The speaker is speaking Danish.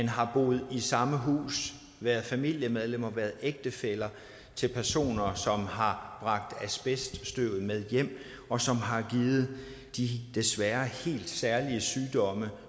har boet i samme hus været familiemedlemmer været ægtefæller til personer som har bragt asbeststøvet med hjem og som har givet de desværre helt særlige sygdomme